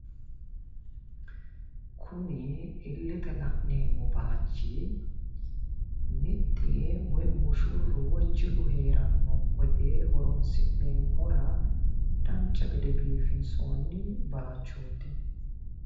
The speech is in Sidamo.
Kuni illete la'neemmo baayichi mixxi yee woyi mushurru woyi jilu heeranno wote horons'neemmora dancha gede biifinsoonni baayichooti.